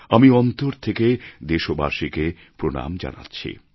আমি অন্তর থেকে দেশবাসীকে প্রণাম জানাচ্ছি